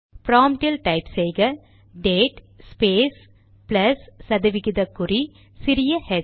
ப்ராம்ட்டில் type செய்க date space plus சதவிகித குறி சிறிய ஹெச்